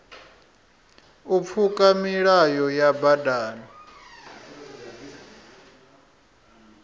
u pfuka milayo ya badani